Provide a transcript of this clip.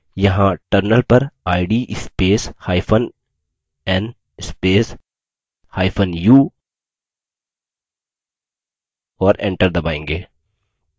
यहाँ terminal पर id spacehyphen n spacehyphen u और enter दबायेंगे